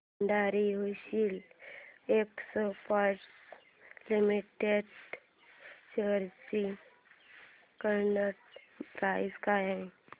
Bhandari hosiery exports limited shares ची current price काय आहे